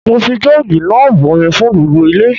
Mo fi joogi náà bomi fún gbogbo ilé.